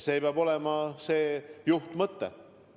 See peab olema juhtmõte.